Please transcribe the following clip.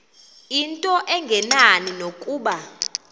into engenani nokuba